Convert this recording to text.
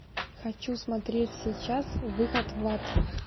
хочу смотреть сейчас выход в ад